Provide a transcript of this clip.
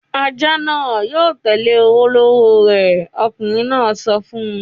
"Ajá náà yóò tẹ́lẹ̀ olówó rẹ̀!" Ọkùnrin náà sọ fún un.